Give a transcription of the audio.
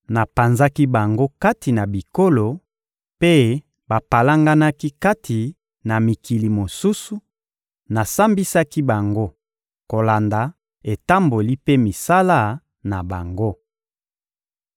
Napanzaki bango kati na bikolo, mpe bapalanganaki kati na mikili mosusu; nasambisaki bango kolanda etamboli mpe misala na bango.